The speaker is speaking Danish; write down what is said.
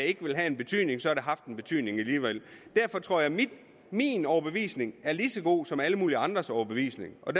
ikke ville have en betydning så har haft en betydning derfor tror jeg at min overbevisning er lige så god som alle mulige andres overbevisning og